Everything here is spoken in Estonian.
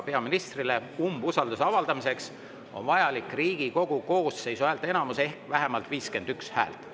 Peaministrile umbusalduse avaldamiseks on vajalik Riigikogu koosseisu häälteenamus ehk vähemalt 51 häält.